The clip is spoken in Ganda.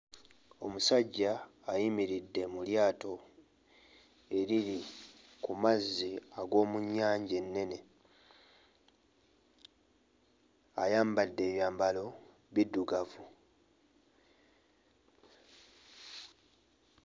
Omusajja ayimiridde mu lyato eriri ku mazzi ag'omu nnyanja ennene, ayambadde ebyambalo biddugavu.